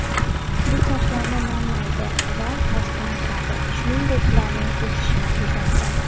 Bu sochlarni namlaydi va oziqlantiradi, shuningdek ularning o‘sishini tezlashtiradi.